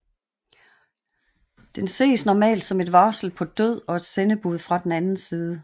Den ses normalt som et varsel på død og et sendebud fra den anden side